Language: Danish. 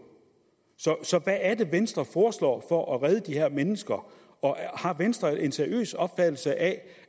så hvad er det venstre foreslår for at redde de her mennesker og har venstre en seriøs opfattelse af